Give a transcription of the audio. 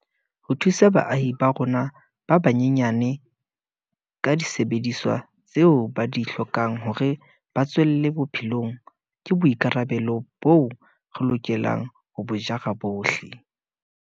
Ho thusa baahi ba rona ba banyenyane ka disebediswa tseo ba di hlokang hore ba tswelle bophelong ke boi karabelo boo re lokelang ho bo jara bohle.